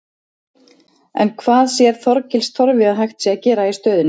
En hvað sér Þorgils Torfi að hægt sé að gera í stöðunni?